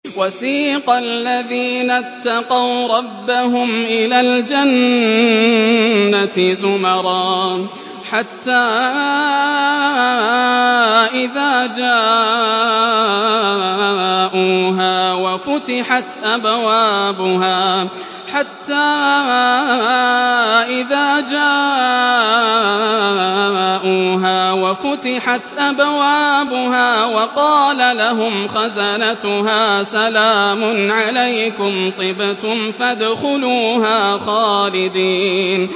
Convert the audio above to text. وَسِيقَ الَّذِينَ اتَّقَوْا رَبَّهُمْ إِلَى الْجَنَّةِ زُمَرًا ۖ حَتَّىٰ إِذَا جَاءُوهَا وَفُتِحَتْ أَبْوَابُهَا وَقَالَ لَهُمْ خَزَنَتُهَا سَلَامٌ عَلَيْكُمْ طِبْتُمْ فَادْخُلُوهَا خَالِدِينَ